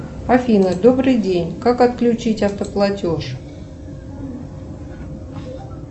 афина добрый день как отключить автоплатеж